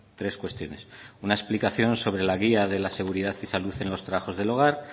tres cuestiones una explicación sobre la guía de la seguridad y salud en los trabajos del hogar